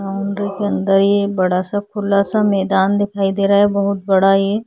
boundary के अंदर हम यह बहुत बड़ा सा खुला सा मैदान दिखाई दे रहा है बहुत बड़ा ये--